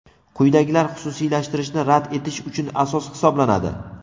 Quyidagilar xususiylashtirishni rad etish uchun asos hisoblanadi:.